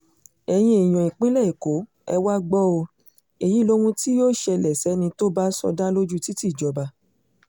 ẹ̀yin èèyàn ìpínlẹ̀ èkó ẹ wàá gbọ́ ọ èyí lóhun tí yóò ṣẹlẹ̀ sẹ́ni tó bá sọdá lójú títì ìjọba